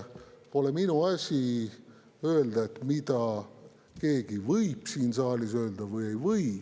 Pole minu asi öelda, mida keegi võib siin saalis öelda või ei või.